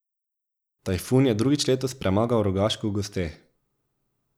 Tajfun je drugič letos premagal Rogaško v gosteh.